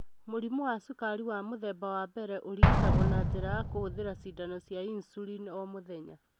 Mũrimũ wa cukari wa mũthemba wa mbere ũrigitagwo na njĩra ya kũhũthĩra cindano cia insulin o mũthenya.